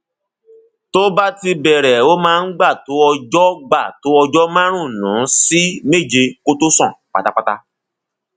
tó bá ti bẹrẹ ó máa gbà tó ọjọ gbà tó ọjọ márùnún sí méje kó tó sàn pátápátá